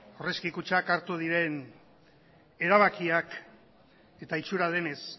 aurrezki kutxan hartu diren erabakiak eta itxura denez